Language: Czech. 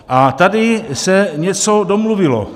A tady se něco domluvilo.